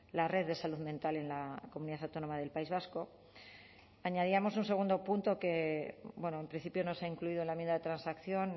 la red de salud mental en la comunidad autónoma del país vasco añadíamos un segundo punto que en principio no se ha incluido en la enmienda de transacción